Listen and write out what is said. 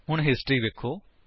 ਹੁਣ ਹਿਸਟਰੀ ਵੇਖੋ